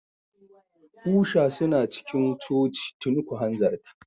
Usha suna cikin coci tuni, ku hanzarta.